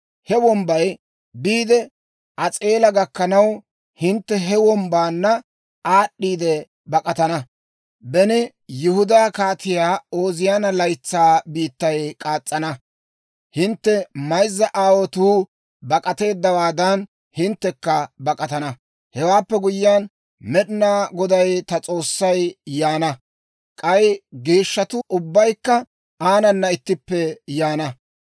He wombbay biide As'eela gakkana; hintte he wombbaanna aad'd'iide bak'atana. Beni Yihudaa Kaatiyaa Ooziyaana laytsaa biittay k'aas's'ina, hintte mayzza aawotuu bak'ateeddawaadan, hinttekka bak'atana. Hewaappe guyyiyaan, Med'inaa Goday ta S'oossay yaana; k'ay geeshshatuu ubbaykka aanana ittippe yaana.